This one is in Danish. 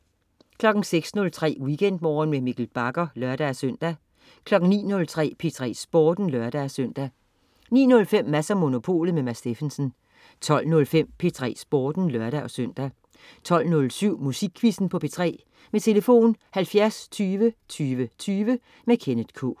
06.03 WeekendMorgen med Mikkel Bagger (lør-søn) 09.03 P3 Sporten (lør-søn) 09.05 Mads & Monopolet. Mads Steffensen 12.05 P3 Sporten (lør-søn) 12.07 Musikquizzen på P3. Tlf.: 70 20 20 20. Kenneth K